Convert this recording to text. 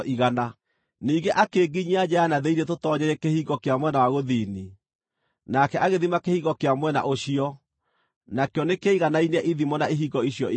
Ningĩ akĩnginyia nja ya na thĩinĩ tũtoonyeire kĩhingo kĩa mwena wa gũthini, nake agĩthima kĩhingo kĩa mwena ũcio; nakĩo nĩkĩaiganainie ithimo na ihingo icio ingĩ.